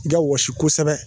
Nga wɔsi kosɛbɛ